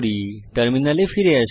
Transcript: টার্মিনালে ফিরে আসি